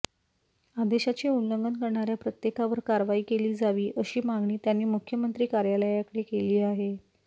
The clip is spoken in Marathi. आदेशाचे उल्लंघन करणाऱ्या प्रत्येकावर कारवाई केली जावी अशी मागणी त्यांनी मुख्यमंत्री कार्यालयाकडे केली आहे